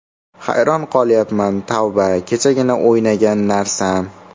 Hayron qolyapman, tavba, kechagina o‘ynagan narsam.